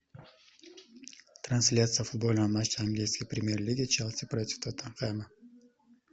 трансляция футбольного матча английской премьер лиги челси против тоттенхэма